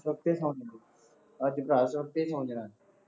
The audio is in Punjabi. ਉੱਤੇ ਸੌ ਜਾਈਂ, ਅੱਜ ਗਲ ਸੁੱਟ ਕੇ ਸੌ ਜਾਣਾ